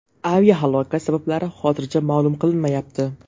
Aviahalokat sabablari hozircha ma’lum qilinmayapti.